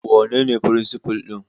Wanene firinsifal ɗin?